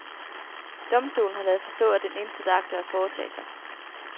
Domstolen har ladet forstå, at den intet agter at foretage sig.